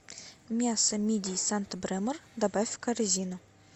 мясо мидий санта бремор добавь в корзину